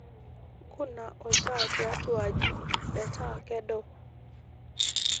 nkuna olntaa tiatwa aji meeta kedo